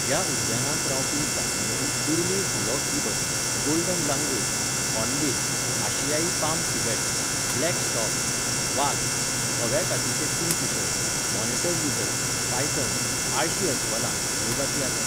ह्या उद्यानांत रावपी जातींमदीं दुर्मिळ हुलॉक गिबन, गोल्डन लांगूर, हॉर्नबिल, आशियाई पाम सिव्हेट, ब्लॅक स्टॉर्क, वाग, धव्या कातीचो किंगफिशर, मॉनिटर लिझर्ड, पायथन, आळशी अस्वलां ह्यो जाती आसात.